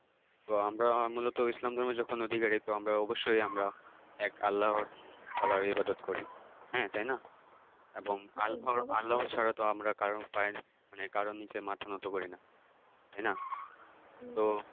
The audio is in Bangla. তো আমরা মূলত ইসলাম ধর্মের যখন অধিকারী তো আমরা অবশ্যই আমরা এক আল্লাহ তায়ালার ইবাদাত করি, হ্যাঁ তাইনা এবংআল্ফ়া আল্লাহ ছাড়াতো আমরা কারো পায়ে মানে কারোর নিচে মাথা নত করি নাহ তাইনা। তো